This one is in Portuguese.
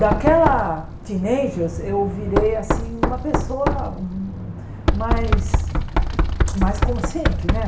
Daquela teenagers eu virei assim uma pessoa mais mais consciente, né?